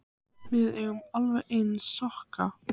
Ég sem var orðin alveg lens með sokka.